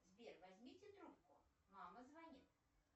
сбер возьмите трубку мама звонит